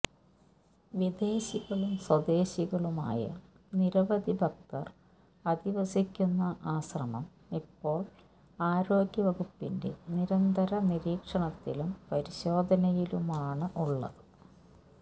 വിദേശികളും സ്വദേശികളുമായ നിരവധി ഭക്തർ അധിവസിക്കുന്ന ആശ്രമം ഇപ്പോള് ആരോഗ്യവകുപ്പിന്റെ നിരന്തര നിരീക്ഷണത്തിലും പരിശോധനയിലുമാണ് ഉള്ളത്